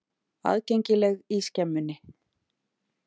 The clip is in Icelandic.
Aðgengileg í Skemmunni.